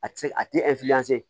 A ti se a ti